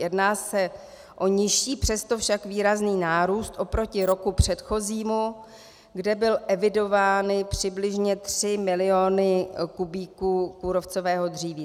Jedná se o nižší, přesto však výrazný nárůst oproti roku předchozímu, kde byly evidovány přibližně 3 miliony kubíků kůrovcového dříví.